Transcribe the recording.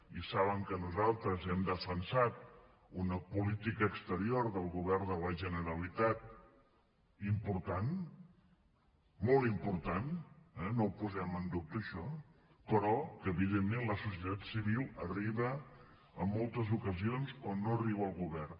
i saben que nosaltres hem defensat una política exterior del govern de la generalitat important molt important eh no ho posem en dubte això però que evidentment la societat civil arriba en moltes ocasions on no arriba el govern